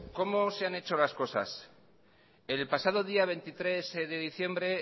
cómo se han hecho las cosas el pasado día veintitrés de diciembre